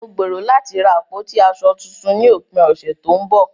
Mo gbèrò láti ra àpótí aṣọ tuntun ní òpin ọ̀sẹ̀ tó ń bọ̀.